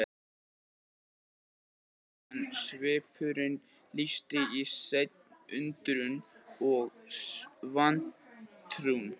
Hann gat ekki betur séð en svipurinn lýsti í senn undrun og vantrú.